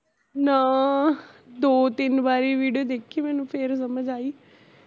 ਨਾ, ਦੋ ਤਿੰਨ ਵਾਰੀ video ਦੇਖੀ, ਮੈਨੂੰ ਫੇਰ ਸਮਜ ਆਈ